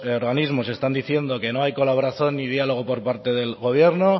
organismos están diciendo que no hay colaboración ni diálogo por parte del gobierno